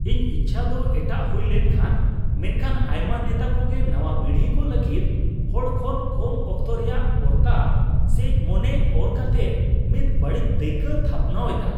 ᱤᱧ ᱤᱪᱪᱷᱟ ᱫᱚ ᱮᱴᱟᱜ ᱦᱩᱭ ᱞᱮᱱᱠᱷᱟᱱ, ᱢᱮᱱᱠᱷᱟᱱ ᱟᱭᱢᱟ ᱱᱮᱛᱟ ᱠᱚᱜᱮ ᱱᱟᱣᱟ ᱯᱤᱲᱦᱤ ᱠᱚ ᱞᱟᱹᱜᱤᱫ ᱦᱚᱲ ᱠᱷᱚᱱ ᱠᱚᱢ ᱚᱠᱛᱚ ᱨᱮᱭᱟᱜ ᱯᱚᱨᱛᱟ ᱥᱮᱡ ᱢᱚᱱᱮ ᱚᱨ ᱠᱟᱛᱮᱜ ᱢᱤᱫ ᱵᱟᱹᱲᱤᱡ ᱫᱟᱹᱭᱠᱟᱹ ᱛᱷᱟᱯᱱᱟᱣ ᱮᱫᱟ ᱾